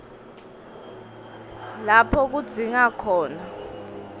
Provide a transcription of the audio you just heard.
lapho kudzingeke khona